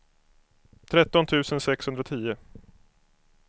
tretton tusen sexhundratio